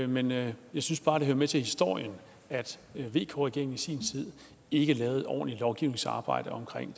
men jeg synes bare det hører med til historien at vk regeringen i sin tid ikke lavede et ordentligt lovgivningsarbejde om